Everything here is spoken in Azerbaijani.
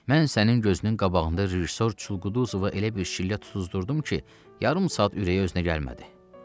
Mən sənin gözünün qabağında rejissor Çulquduzovu elə bir şillə tuzdururdum ki, yarım saat ürəyi özünə gəlmədi.